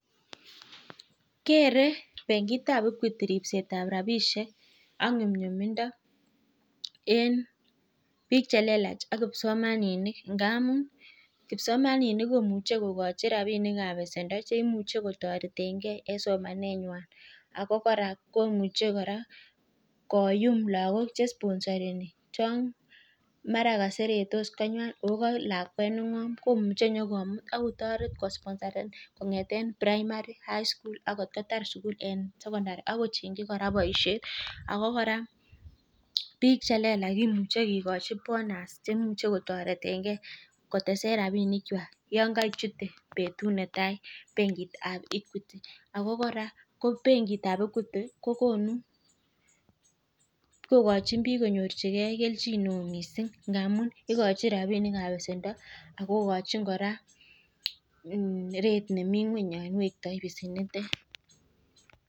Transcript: Kere bengitab Equity ripset ab rabishek ak nyumnyunimdo en biikc he lelach ak kipsomaninik, ngamun kipsomaninik komuche kogochi rabinik ab besendo che imuche kotoretenge en somanenywan. Ago kora ko much ekora koyum lagok che isponosareni chon mara koseretos konywan ot mara ka lakwet ne ng'om komuche inyokomut ak kotoreti kosponsaren kong'eten primary, highchool ak kot kotar sugul en sokondari ak kochengi kora bosiet. Ago kora biik che lelach kimuche kigochi bonus che imuche kotoretenge kotesen rabinikwak yon kochute betut netai bengit ab Equity. Ago kora ko bengit ab Equity kogochin bbiik kobelchige kelchin neo mising ngamun igochin rabinik ab besendo ago igochin kora rate nemi ng'weny yon wekto besenitet.